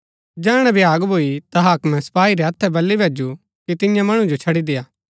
जैहणै भ्याग भूई ता हाक्मे सपाई रै हत्थै बली भैजु कि तियां मणु जो छड़ी देय्आ